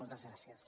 moltes gràcies